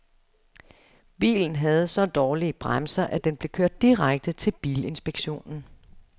Bilen havde så dårlige bremser, at den blev kørt direkte til bilinspektionen.